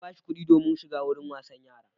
Na ba shi kuɗi domin shiga wurin wasan yara.